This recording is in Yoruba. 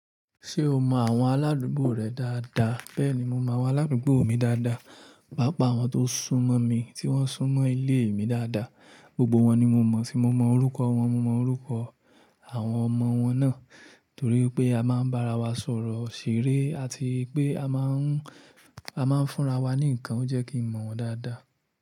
Ṣé o mọ àwọn aládùúgbò rẹ dáadáa? Bẹ́ẹ̀ni, mo mọ àwọn aládùúgbò mi dáadáa, pàápàá àwọn tó sún mọ́ mi tí wọ́n ń sún mọ́ ilé mi dáadáa. Gbogbo wọn ni mo mọ̀, tí mo mọ orúkọ wọn, mo mọ orúkọ àwọn ọmọ wọn náà. Torí pé a máa ń bá ara wa sọ̀rọ̀, ṣeré àti pé a máa ń, a máa ń fúnra wa ní nǹkan, ó jẹ́ kí mo mọ̀ wọ́n dáadáa.